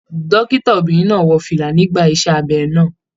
Dókítà obìnrin náà wọ fìlà nígbà iṣẹ abẹ náà.